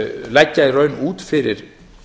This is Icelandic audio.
leggja í raun út fyrir